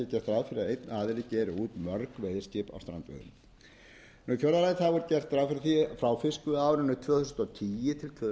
strandveiðum í fjórða lagi er gert ráðfyrir því frá fiskveiðiárinu tvö þúsund og tíu til